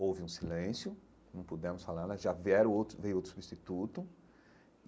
Houve um silêncio, não pudemos falar né, já vieram outro veio outro substituto.